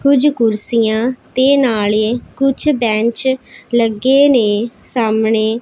ਕੁਝ ਕੁਰਸੀਆਂ ਤੇ ਨਾਲੇ ਕੁਝ ਬੈਂਚ ਲੱਗੇ ਨੇ ਸਾਹਮਣੇ।